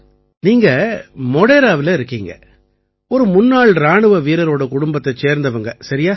நீங்க மோடேராவில இருக்கீங்க ஒரு முன்னாள் இராணுவ வீரரோட குடும்பத்தைச் சேர்ந்தவங்க சரியா